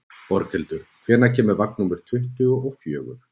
Borghildur, hvenær kemur vagn númer tuttugu og fjögur?